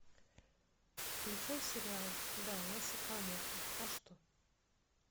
включай сериал да я сакамото а что